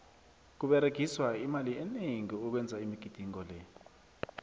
kuberegiswa imali eningi ukwenza imigidingo le